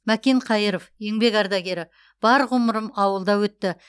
мәкен қайыров еңбек ардагері бар ғұмырым ауылда өтті